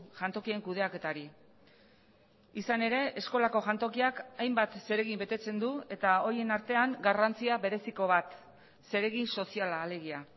jantokien kudeaketari izan ere eskolako jantokiak hainbat zeregin betetzen du eta horien artean garrantzia bereziko bat zeregin soziala alegia